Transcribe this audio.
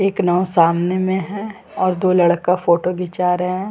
एक नांव सामने में है और दो लड़का फोटो घिचा रहे हैं।